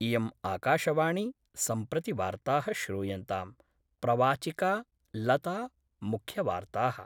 इयम् आकाशवाणी सम्प्रति वार्ताः श्रूयन्ताम् प्रवाचिका लता मुख्यवार्ता: